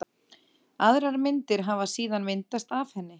Aðrar myndir hafi síðan myndast af henni.